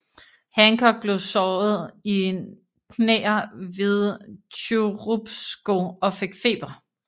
Hancock blev såret I knæer ved Churubusco og fik feber